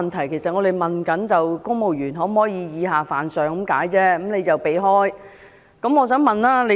我們只是詢問公務員可否以下犯上，但他卻避而不答。